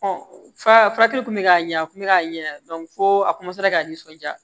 fa furakɛli kun bɛ k'a ɲɛ a tun bɛ ka ɲɛ fo a ka nisɔndiya